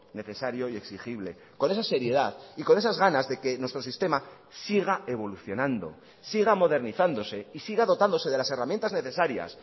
necesario y exigible con esa seriedad y con esas ganas de que nuestro sistema siga evolucionando siga modernizándose y siga dotándose de las herramientas necesarias